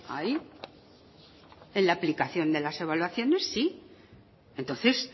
ahí en la aplicación de las evaluaciones sí entonces